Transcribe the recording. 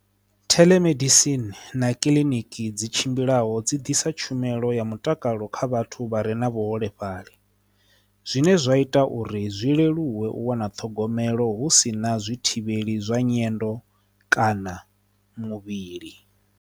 Theḽomedisini na kiliniki dzi tshimbilaho dzi ḓisa tshumelo ya mutakalo kha vhathu vha re na vhuholefhali zwine zwa ita uri zwi leluwe u wana ṱhogomelo hu si na zwi thivheli zwa nyendo kana muvhili.